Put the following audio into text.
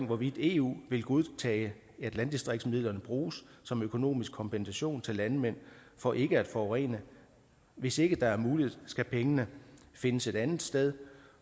hvorvidt eu vil godtage at landdistriktsmidlerne bruges som økonomisk kompensation til landmænd for ikke at forurene hvis ikke det er muligt skal pengene findes et andet sted